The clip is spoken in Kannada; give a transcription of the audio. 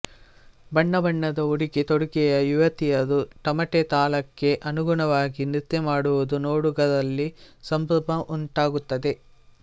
ಬಣ್ಣಬಣ್ಣದ ಉಡುಗೆ ತೊಡುಗೆಯ ಯುವತಿಯರು ತಮಟೆ ತಾಳಕ್ಕೆ ಅನುಗುಣವಾಗಿ ನೃತ್ಯ ಮಾಡುವುದು ನೋಡುಗರಲ್ಲಿ ಸಂಭ್ರಮ ಉಂಟಾಗುತ್ತದೆ